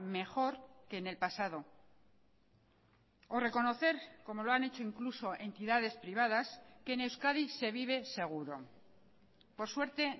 mejor que en el pasado o reconocer como lo han hecho incluso entidades privadas que en euskadi se vive seguro por suerte